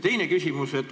Teine küsimus.